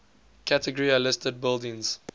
category a listed buildings